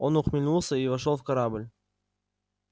он усмехнулся и вошёл в корабль